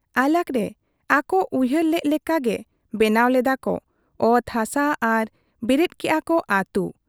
ᱟᱞᱟᱜᱽ ᱨᱮ ᱟᱠᱚ ᱩᱭᱦᱟᱹᱨ ᱞᱮᱜ ᱞᱮᱠᱟ ᱜᱮ ᱵᱮᱱᱟᱣ ᱞᱮᱫᱟ ᱠᱚ ᱚᱛ ᱦᱟᱥᱟ ᱟᱨ ᱵᱮᱨᱮᱫ ᱠᱮᱜ ᱟ ᱠᱚ ᱟᱹᱛᱩ ᱾